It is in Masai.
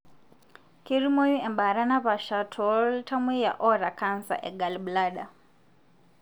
ketumoyu embaata napasha toltamoyia oata cancer egallblader.